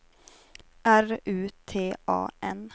R U T A N